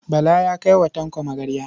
Bala ya kai wa Tanko magarya.